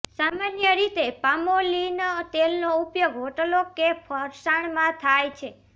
સામાન્ય રીતે પામોલીન તેલનો ઉપયોગ હોટલો કે ફરસાણમાં થાય છે